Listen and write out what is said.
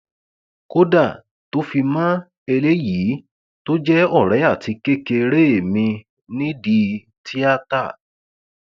kódà tó fi mọ eléyìí tó jẹ ọrẹ àti kékeré mi nídìí tíátá